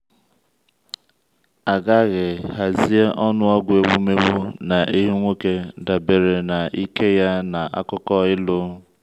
a ghaghị hazie ọnụọgụ ewumewụ na ehi nwoke dabere na ike ya na akụkọ ịlụ.